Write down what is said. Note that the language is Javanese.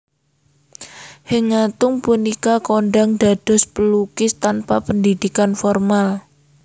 Henk Ngantung punika kondhang dados pelukis tanpa pendidikan formal